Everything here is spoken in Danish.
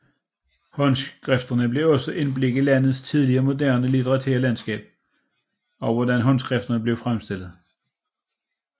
Håndskrifterne giver også indblik i landets tidlige moderne litterære landskab og hvordan håndskrifterne blev fremstillet